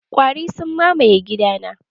Ƙwari sun mamaye gidana.